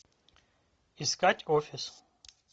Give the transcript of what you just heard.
искать офис